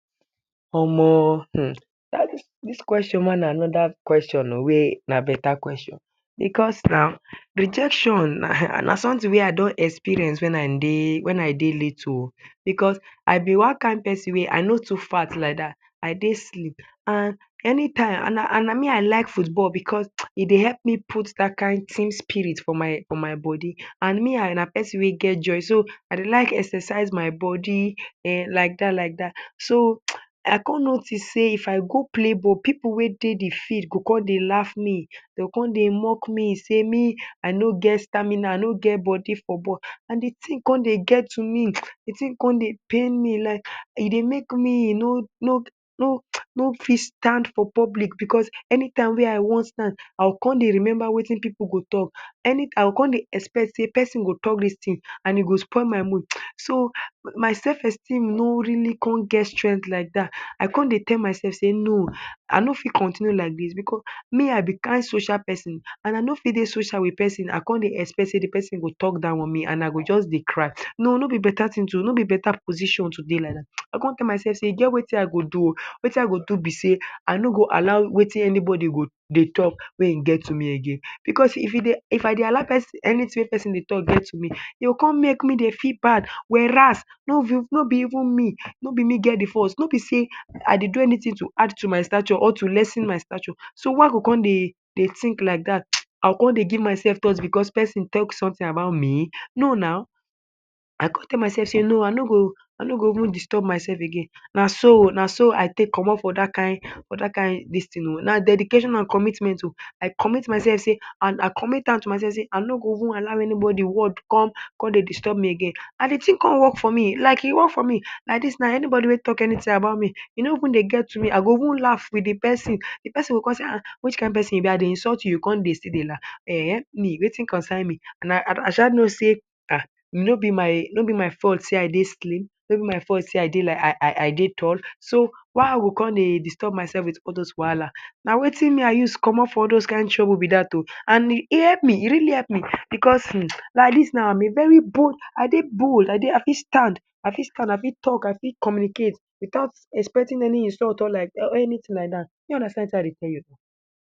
Omo hmm dis question ma na another question ooo wey na beta question because na rejection na something wey I done experience when I dey little ooh because I be one kind person wey I no too fat like dat I dey slim and anytime and na me I like foot ball because e dey help put dat kind thin spirit for my body and me na person wey get joy, so I de like exercise my body[um]like dat like dat. so I come notice sey if I go play ball pipu wey de de field go come dey laugh me come de mock me sey me I no get stamina I no get body for ball and de thing come de get to me, de thing come de pain me, like e de make me no fit stand for public because anytime way I wan stand I go come dey remember wetin pipu go talk I go come de expect sey person go talk dis thing and e go spoil my mood so myself esteem no really come get strength like dat I come dey tell myself sey no I no fit continue like dis because me I be kind social person and I no fit de social with person and come de expect sey d person go talk down on me and I go come de cry noo noo be beta thing to, no be beta position to dey like. I come tell myself sey e get wetin I go do, wetin I go do be sey I no go allow wetin anybody de talk make e get to me again because if I dey allow anything wey person talk get to me again because if I dey allow anything wey person dey talk get to me e go come make me dey feel bad whereas no be even me get de fault say I dey do anything to add to my statue or to lessen my statue so why I go come dey think like dat, I go come de give myself thought because person talk something about me? no na I come tell myself sey no o I no go even disturb myself again so, naso I take comot from dat kind for dat kind dis thing o na dedication and commitment o I commit myself sey and I commit am to myself sey I no no go even allow any body word come dey distub me again and de thing come work for me like e work for me like dis now anybody wey talk anything about me e no even dey get to me I go even laugh with de person d person go come sey ah which kind person you be I de insult you and you come still de laugh eh me wetin concern me I sha know sey I no be my fault say I dey slim no be my fault say I de tell so why I go come disturb myself with all those wahala na wetin me I use comot for all those kind trouble be dat oooh and help me e really help me because hmmm like dis now I am a very bold I dey bold I fit stand, I fit talk I fit communicate without expecting any insult or anything like that shey you understand wetin I de tell you